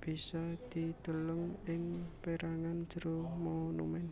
bisa dideleng ing pérangan jero monumèn